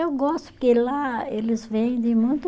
Eu gosto, porque lá eles vendem muito